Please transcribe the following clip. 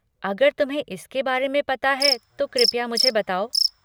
अगर तुम्हें इसके बारे में पता है तो कृपया मुझे बताओ।